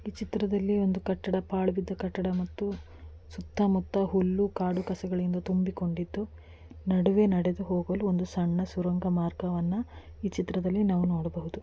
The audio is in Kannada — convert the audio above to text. ಈ ಚಿತ್ರದಲ್ಲಿ ಒಂದು ಕಟ್ಟಡ ಪಾಲ್ ಬಿದ್ದಿರೋ ಕಟ್ಟಡ ಮತ್ತು ಸುತ್ತ ಮುತ್ತ ಹುಲ್ಲು ಕಾಡು ಕಸಗಳಿಂದ ತುಂಬುಕೊಂಡ್ಡಿದ್ದು ನಡುವೆ ನಡೆದು ಹೋಗಲು ಒಂದು ಸುರಂಗ ಮಾರ್ಗವನ್ನು ಈ ಚಿತ್ರದಲ್ಲಿ ನಾವು ನೋಡಬಹುದು .